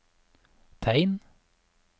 tegn